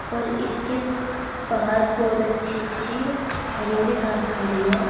और इसके बाहर बहोत अच्छी अच्छी हरी हरी घास खड़ी है।